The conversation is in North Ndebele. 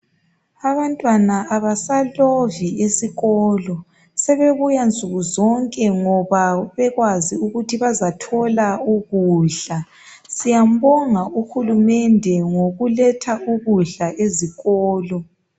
Abantwana abasalovi esikolo sebebuya nsuku zonke ngoba bekwazi ukuthi bazathola ukudla. Siyambonga uhulumende ngokuletha ukudla ezikolo.